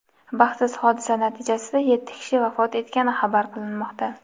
Baxtsiz hodisa natijasida yetti kishi vafot etgani xabar qilinmoqda.